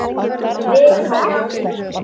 Við Tómas.